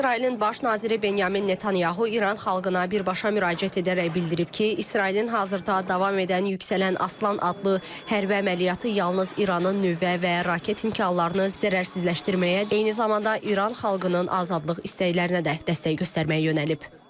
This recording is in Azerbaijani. İsrailin baş naziri Benyamin Netanyahu İran xalqına birbaşa müraciət edərək bildirib ki, İsrailin hazırda davam edən Yüksələn Aslan adlı hərbi əməliyyatı yalnız İranın nüvə və raket imkanlarını zərərsizləşdirməyə, eyni zamanda İran xalqının azadlıq istəklərinə də dəstək göstərməyə yönəlib.